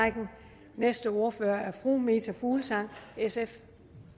og næste ordfører er fru meta fuglsang sf